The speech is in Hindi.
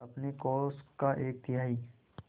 अपने कोष का एक तिहाई